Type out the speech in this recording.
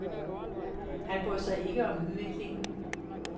Han brød sig ikke om udviklingen.